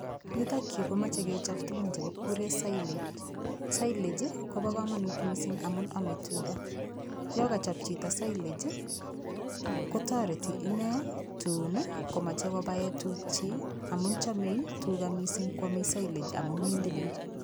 Yutokyu komochei kechop tukun chekikure silage silage kobo kamanut mising' amun omei tuga yo kachop cheto silage kotoreti inee tun komochei kobaee tukchi amun chomei tuga mising' kwomei silage amun mindilil